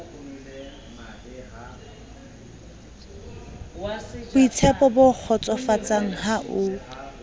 boitshepo bo kgotsofatsang ha a